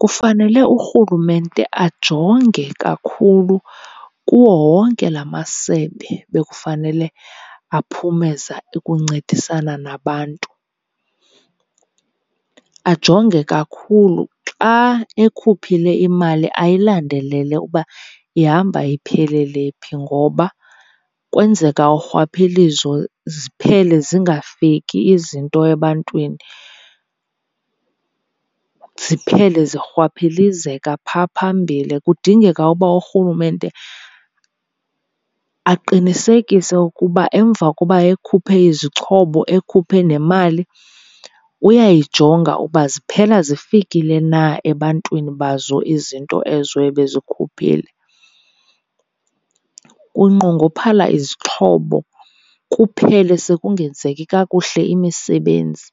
Kufanele urhulumente ajonge kakhulu kuwo wonke la masebe bekufanele aphumeza ukuncedisana nabantu. Ajonge kakhulu, xa ekhuphile imali ayilandelele uba ihamba iphelele phi ngoba kwenzeka urhwaphilizo ziphele zingafiki izinto ebantwini, ziphele zirhwaphilizeka phaa phambili. Kudingeka uba urhulumente aqinisekise ukuba emva koba ekhuphe izixhobo ekhuphe nemali uyayijonga uba ziphela zifikile na ebantwini bazo izinto ezo ebezikhuphile. Kunqongophala izixhobo kuphele sekungenzeki kakuhle imisebenzi